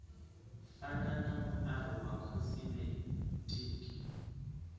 fana na muaro wa khosimetiki